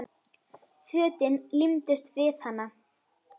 Fötin límdust við hana.